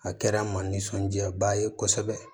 A kɛra n ma nisɔndiyaba ye kosɛbɛ